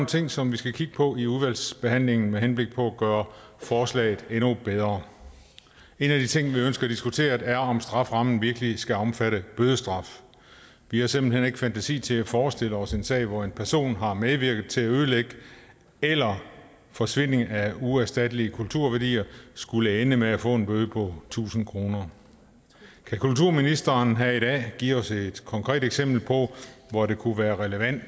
ting som vi skal kigge på i udvalgsbehandlingen med henblik på at gøre forslaget endnu bedre en af de ting vi ønsker at diskutere er om strafferammen virkelig skal omfatte bødestraf vi har simpelt hen ikke fantasi til at forestille os en sag hvor en person der har medvirket til ødelæggelse eller forsvinding af uerstattelige kulturværdier skulle ende med at få en bøde på tusind kroner kan kulturministeren her i dag give os et konkret eksempel på hvor det kunne være relevant